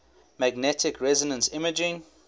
magnetic resonance imaging